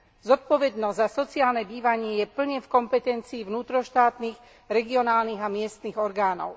Zodpovednosť za sociálne bývanie je plne v kompetencii vnútroštátnych, regionálnych a miestnych orgánov.